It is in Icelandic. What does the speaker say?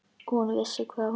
Hún vissi hvað hún vildi.